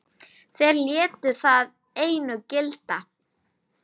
Þeir létu það einu gilda.